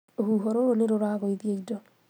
Rũhuho rũrũ nĩrũragũithia indo